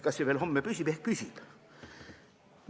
Kas see veel homme püsib?